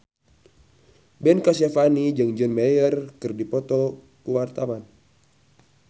Ben Kasyafani jeung John Mayer keur dipoto ku wartawan